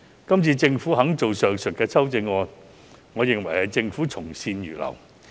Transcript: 今次政府提出上述修正案，我認為政府從善如流。